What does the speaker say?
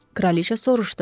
Kraliçə soruşdu.